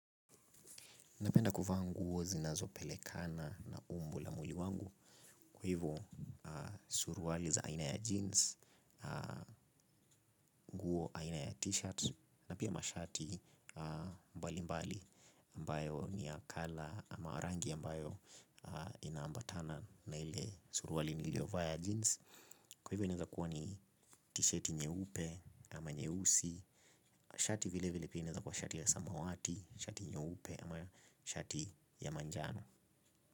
Napenda kuvaa nguo zinazopelekana na umbo la mwili wangu, kwa hivyo suruali za aina ya jeans aina ya t-shirt na pia mashati mbali mbali ambayo ni ya color ama rangi ambayo inaambatana na ile suruali niliyo vaa ya jeans. Kwa hivyo inaweza kuwa ni t-shirti nyeupe ama nyeusi, shati vile vile pia inaweza kuwa shati ya samawati, shati nyeupe ama shati ya manjano.